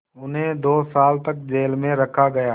उन्हें दो साल तक जेल में रखा गया